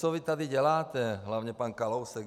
Co vy tady děláte, hlavně pan Kalousek?